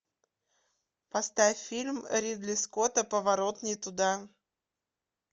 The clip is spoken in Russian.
поставь фильм ридли скотта поворот не туда